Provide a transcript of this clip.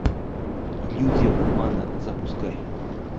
иллюзия обмана запускай